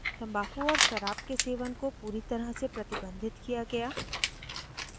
तम्बाकू और शराब के सेवन कोपूरी तरह से प्रतिबंधित किया गया